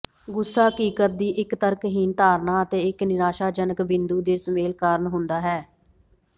ਗੁੱਸਾ ਹਕੀਕਤ ਦੀ ਇੱਕ ਤਰਕਹੀਣ ਧਾਰਨਾ ਅਤੇ ਇੱਕ ਨਿਰਾਸ਼ਾਜਨਕ ਬਿੰਦੂ ਦੇ ਸੁਮੇਲ ਕਾਰਨ ਹੁੰਦਾ ਹੈ